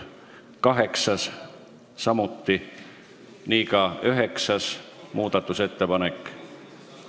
Kaheksanda ja üheksanda muudatusettepanekuga on samamoodi.